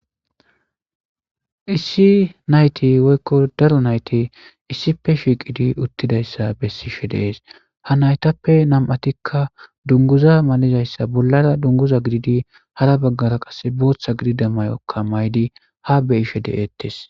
Issi nayit woyikko Daro nayit issippe shiqqiddi uttidayissa besishshe de'ees.haa nayitappe nam''attikka dunguizza malizayisa bollara duniguza gididi hara bagara qase boththa gidida mayokka mayidd haa be'ishshe de'etees.